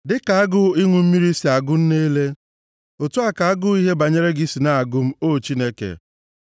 Dịka agụụ ịṅụ mmiri si na-agụ nne ele, otu a ka agụụ ihe banyere gị si na-agụ m, O Chineke.